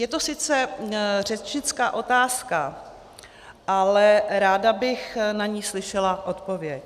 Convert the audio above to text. Je to sice řečnická otázka, ale ráda bych na ni slyšela odpověď.